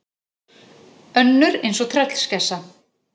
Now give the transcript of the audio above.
Önnur eins og tröllskessa.